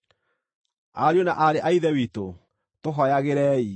Ariũ na aarĩ a Ithe witũ, tũhooyagĩrei.